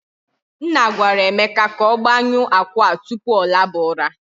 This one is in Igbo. Nna gwara Emeka ka ọ gbanyu akụ a tupu ọ laba ụra.